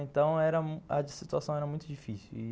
Então era, a situação era muito difícil.